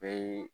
Bɛɛ ye